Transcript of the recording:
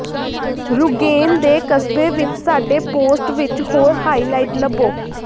Rügen ਦੇ ਕਸਬੇ ਵਿਚ ਸਾਡੇ ਪੋਸਟ ਵਿਚ ਹੋਰ ਹਾਈਲਾਈਟ ਲੱਭੋ